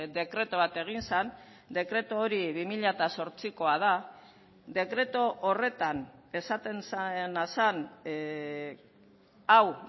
dekretu bat egin zen dekretu hori bi mila zortzikoa da dekretu horretan esaten zena zen hau